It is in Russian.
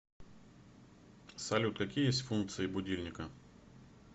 салют какие есть функции будильника